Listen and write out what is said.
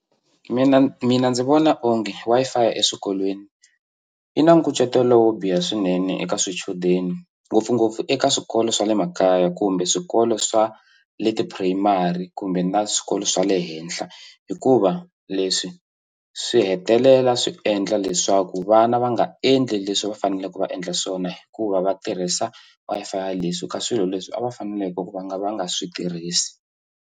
Mina mina ndzi vona onge Wi-Fi eswikolweni yi na nkucetelo wo biha swinene eka swichudeni ngopfungopfu eka swikolo swa le makaya kumbe swikolo swa le tipurayimari kumbe na swikolo swa le henhla hikuva leswi swi hetelela swi endla leswaku vana va nga endli leswi va faneleke va endla swona hikuva va tirhisa Wi-Fi leswi ka swilo leswi a va faneleke va nga va nga swi tirhisi.